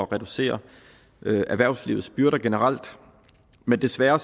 reducere erhvervslivets byrder generelt men desværre